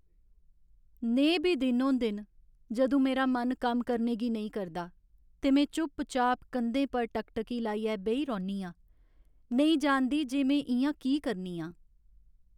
नेहे बी दिन होंदे न जदूं मेरा मन कम्म करने गी नेईं करदा ते में चुपचाप कंधें पर टकटकी लाइयै बेही रौह्न्नी आं, नेईं जानदी जे में इ'यां की करनी आं।